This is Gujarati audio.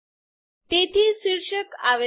તેથી શીર્ષક આવે છે